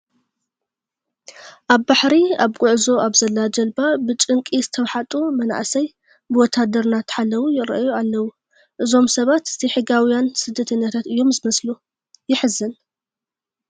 ኣብ ባሕሪ ኣብ ጉዕዞ ኣብ ዘላ ጀልባ ብጭንቂ ዝተዋሕጡ መናእሰይ ብወታደር እናተሓለዉ ይርአዩ ኣለዉ፡፡ እዞም ሰባት ዘይሕጋውያን ስደደተኛታት እዮም ዝመስሉ፡፡ የሕዝን፡፡